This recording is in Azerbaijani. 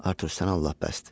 Artur, sən Allah bəsdir.